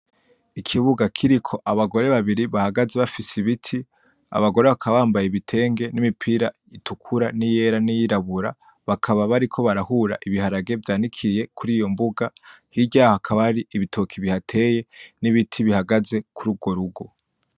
Ikibuga kiriko abagore babiri bahagaze bafise ibiti, abagore bakaba bambaye ibitenge n'imipira itukura n'iyera n'iyirabura, bakaba bariko barahura ibiharage vyanikiye kuriyo mbuga, hirya yaho hakaba hari ibitoke bihateye n'ibiti bihagaze kuri urwo rugo.